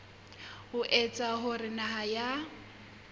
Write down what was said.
ho etsa hore naha ya